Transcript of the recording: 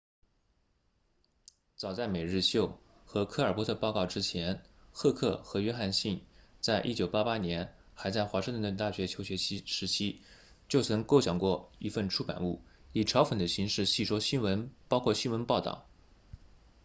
早在每日秀 the daily show 和科尔伯特报告 colbert report 之前赫克 heck 和约翰逊 johnson 在1988年还在华盛顿大学求学时期就曾构想过一份出版物以嘲讽的形式戏说新闻包括新闻报道